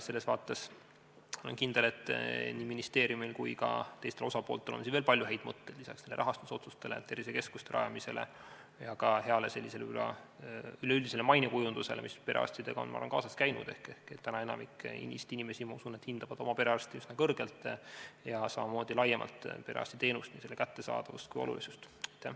Selles vaates olen kindel, et nii ministeeriumil kui ka teistel osapooltel on siin veel palju häid mõtteid lisaks nendele rahastusotsustele ja tervisekeskuste rajamisele ja ka heale sellisele üleüldisele mainekujundusele, mis perearstidega on kaasas käinud ehk täna enamik Eesti inimesi, ma usun, et hindavad oma perearsti üsna kõrgelt ja samamoodi laiemalt perearstiteenust, nii selle kättesaadavust kui olulisust.